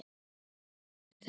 Núna er þetta bilun.